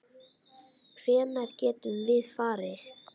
Hvenær getum við farið?